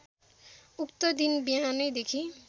उक्त दिन बिहानैदेखि